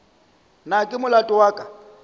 na ke molato wa ka